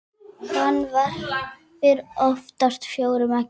Hann verpir oftast fjórum eggjum.